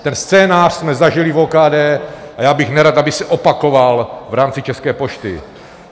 Ten scénář jsme zažili v OKD a já bych nerad, aby se opakoval v rámci České pošty.